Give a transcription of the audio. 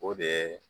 O de ye